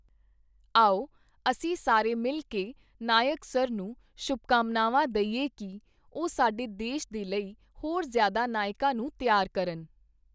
ਆਓ, ਅਸੀਂ ਸਾਰੇ ਮਿਲ ਕੇ ਨਾਇਕ ਸਰ ਨੂੰ ਸ਼ੁਭਕਾਮਨਾਵਾਂ ਦਈਏ ਕਿ, ਉਹ ਸਾਡੇ ਦੇਸ਼ ਦੇ ਲਈ ਹੋਰ ਜ਼ਿਆਦਾ ਨਾਇਕਾਂ ਨੂੰ ਤਿਆਰ ਕਰਨ।